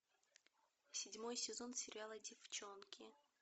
седьмой сезон сериала деффчонки